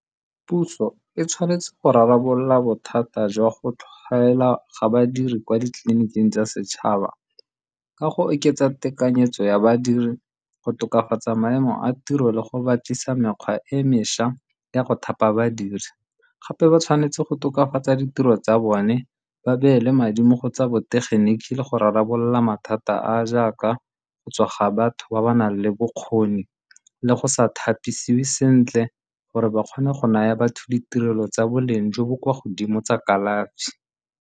Puso e tshwanetse go rarabolola bothata jwa go tlhaela ga badiri kwa ditleliniking tsa setšhaba ka go oketsa tekanyetso ya badiri, go tokafatsa maemo a tiro le go batlisa mekgwa e mešwa ya go thapa badiri gape ba tshwanetse go tokafatsa ditiro tsa bone ba beele madi mo go tsa botegeniki le go rarabolola mathata a a jaaka go tsoga batho ba ba nang le bokgoni le go sa thapisiwe sentle gore ba kgone go naya batho ditirelo tsa boleng jo bo kwa godimo tsa kalafi.